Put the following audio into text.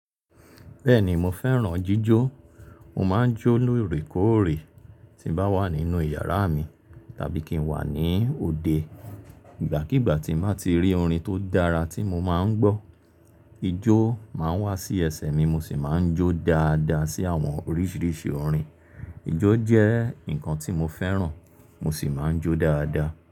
Bẹ́ẹ̀ni mo fẹ́ràn jíjó. Mo máa ń jó lóòrèkóòrè tí bá wà nínú ìyàrá mi tàbí kí n wà ní òde. Ìgbàkígbà tí mo bá ti rí orin tó dára tí mo máa ń gbọ́, ijó máa ń wá sí ẹsẹ̀ mi mo sì máa ń jó dáadáa sí àwọn oríṣiríṣi orin. Ijó jẹ́ ǹkan tí mo fẹ́ràn mo sì máa ń jó dáadáa.